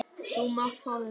Þú mátt fá þetta.